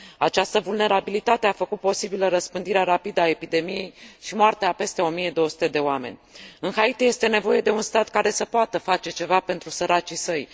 Această vulnerabilitate a făcut posibilă răspândirea rapidă a epidemiei și moartea a peste 1200 de oameni. În Haiti este nevoie de un stat care să poată face ceva pentru săracii săi.